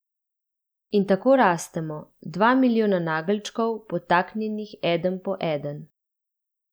In tako rastemo, dva milijona nageljčkov, podtaknjenih eden po eden.